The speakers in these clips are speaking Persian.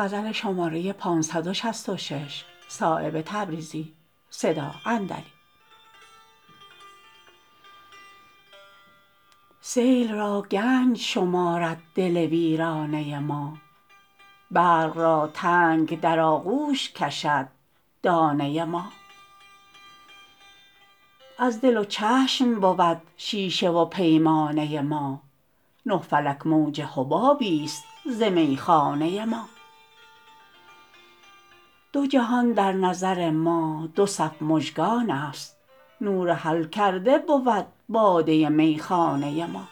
سیل را گنج شمارد دل ویرانه ما برق را تنگ در آغوش کشد دانه ما از دل و چشم بود شیشه و پیمانه ما نه فلک موج حبابی است ز میخانه ما دو جهان در نظر ما دو صف مژگان است نور حل کرده بود باده میخانه ما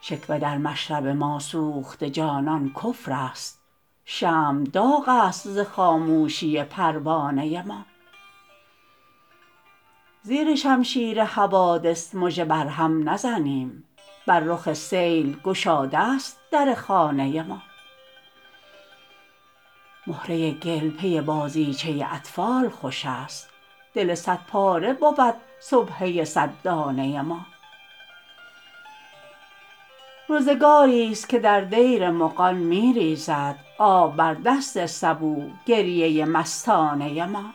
شکوه در مشرب ما سوخته جانان کفرست شمع داغ است ز خاموشی پروانه ما زیر شمشیر حوادث مژه بر هم نزنیم بر رخ سیل گشاده است در خانه ما مهره گل پی بازیچه اطفال خوش است دل صد پاره بود سبحه صد دانه ما روزگاری است که در دیر مغان می ریزد آب بر دست سبو گریه مستانه ما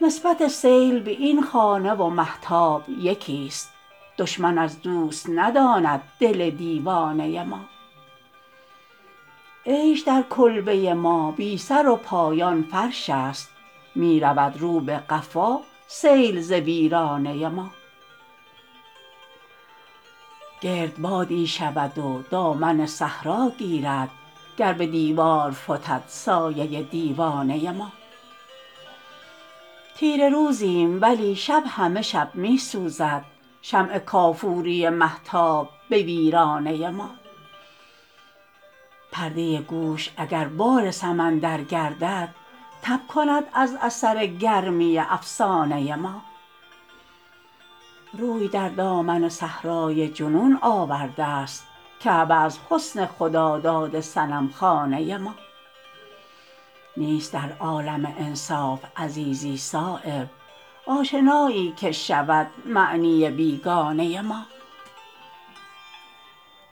نسبت سیل به این خانه و مهتاب یکی است دشمن از دوست نداند دل دیوانه ما عیش در کلبه ما بی سرو پایان فرش است می رود رو به قفا سیل ز ویرانه ما گردبادی شود و دامن صحرا گیرد گر به دیوار فتد سایه دیوانه ما تیره روزیم ولی شب همه شب می سوزد شمع کافوری مهتاب به ویرانه ما پرده گوش اگر بال سمندر گردد تب کند از اثر گرمی افسانه ما روی در دامن صحرای جنون آورده است کعبه از حسن خداداد صنمخانه ما نیست در عالم انصاف عزیزی صایب آشنایی که شود معنی بیگانه ما